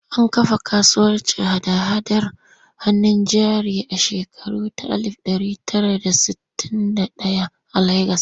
An kafa kasuwar hada-hadar hannun jari a shekara ta alif ɗari tara da sittin da ɗaya a Legas.